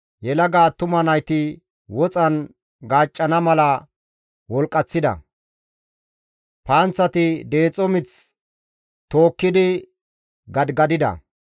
Yelaga attuma nayti woxan gaaccana mala wolqqaththida; panththati deexo mith tookkidi gadigadida.